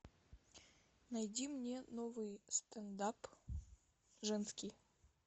найди мне новый стендап женский